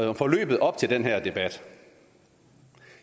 om forløbet op til den her debat